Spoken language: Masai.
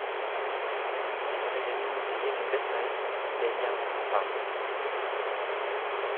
Ore tenimutiyieki impisai neinyal mupango.